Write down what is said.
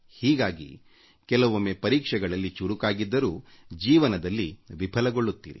ಹೀಗಾಗಿ ಕೆಲವೊಮ್ಮೆ ಪರೀಕ್ಷೆಗಳಲ್ಲಿ ಅಂಕ ಪಡೆಯುವಲ್ಲಿ ಬುದ್ಧಿವಂತರಾದರೂ ಜೀವನದಲ್ಲಿ ವಿಫಲರಾಗುತ್ತೀರಿ